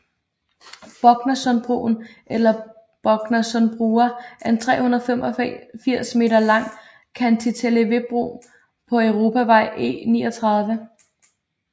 Boknasundbroen eller Boknasundbrua er en 385 meter lang cantileverbro på Europavej E39